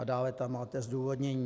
A dále tam máte zdůvodnění.